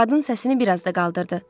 Qadın səsini bir az da qaldırdı.